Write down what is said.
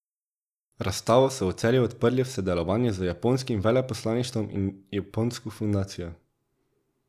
Razstavo so v Celju odprli v sodelovanju z japonskim veleposlaništvom in Japonsko fundacijo.